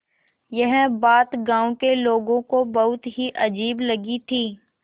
यह बात गाँव के लोगों को बहुत ही अजीब लगी थी